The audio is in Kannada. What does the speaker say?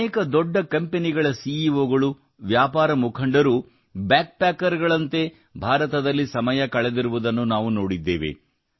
ಅನೇಕ ದೊಡ್ಡ ಕಂಪೆನಿಗಳ ಸಿಇಒಗಳು ವ್ಯಾಪಾರ ಮುಖಂಡರು ಬ್ಯಾಗ್ ಪ್ಯಾಕರ್ ಗಳಂತೆ ಭಾರತದಲ್ಲಿ ಸಮಯ ಕಳೆದಿರುವುದನ್ನು ನಾವು ನೋಡಿದ್ದೇವೆ